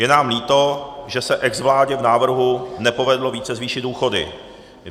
Je nám líto, že se exvládě v návrhu nepovedlo více zvýšit důchody.